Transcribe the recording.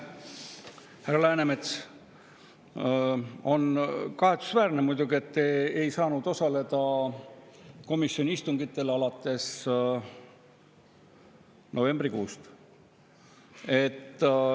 Härra Läänemets, on muidugi kahetsusväärne, et te alates novembrikuust ei saanud komisjoni istungitel osaleda.